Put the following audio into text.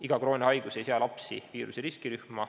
Iga krooniline haigus ei sea lapsi viiruse riskirühma.